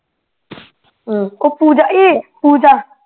ਕੁ ਪੂਜਾ ਏ ਪੂਜਾ